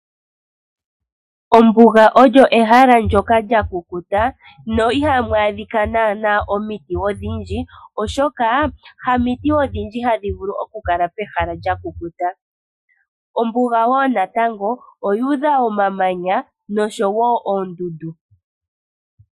Ombuga olyo ehala ndyoka mwa kukuta na ihamu adhika naana omiti odhindji, oshoka hamiti odhindji hadhi vulu oku kala pehala lya kukuta. Ombuga wo natango oyuudha omamanya noshowo oondundu.